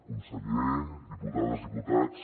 conseller diputades diputats